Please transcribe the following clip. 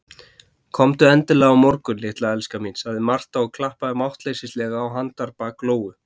Komdu endilega á morgun, litla elskan mín, sagði Marta og klappaði máttleysislega á handarbak Lóu.